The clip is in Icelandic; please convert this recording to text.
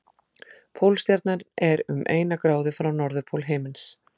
Pólstjarnan er um eina gráðu frá norðurpól himins.